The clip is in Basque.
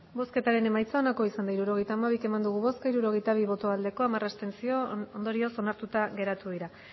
hirurogeita hamabi eman dugu bozka hirurogeita bi bai hamar abstentzio ondorioz onartuta geratu dira